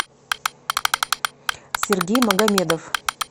сергей магомедов